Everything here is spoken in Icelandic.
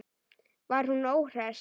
Var hún óhress?